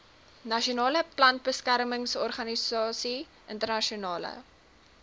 nasionale plantbeskermingsorganisasie internasionale